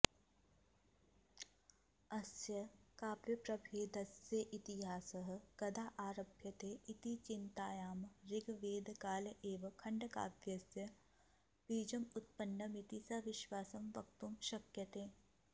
अस्य काव्यप्रभेदस्येतिहासः कदा आरभ्यते इति चिन्तायाम् ऋग्वेदकाल एव खण्डकाव्यस्य बीजमुत्पन्नमिति सविश्वासं वक्तुं शक्यते